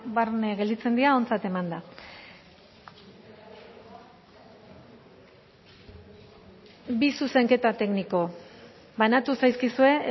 barne gelditzen dira ontzat emanda bi zuzenketa tekniko banatu zaizkizue